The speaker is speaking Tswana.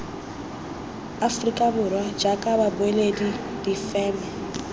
aforika borwa jaaka babueledi difeme